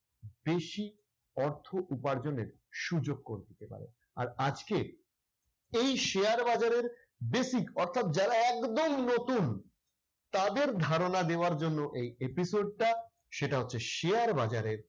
বেশি অর্থ উপার্জনের সুযোগ করে দিতে পারে। আর আজকে এই share বাজারের basic অর্থাৎ যারা একদম নতুন তাদের ধারণা দেওয়ার জন্য এই episode টা সেটা হচ্ছে share বাজারের